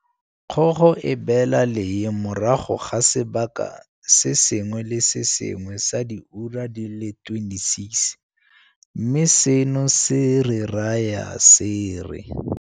Kgogo e beela lee morago ga sebaka se sengwe le se sengwe sa diura di le 26, mme seno se re raya se re